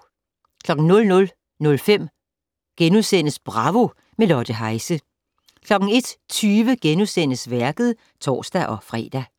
00:05: Bravo - med Lotte Heise * 01:20: Værket *(tor-fre)